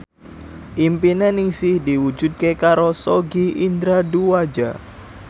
impine Ningsih diwujudke karo Sogi Indra Duaja